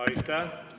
Aitäh!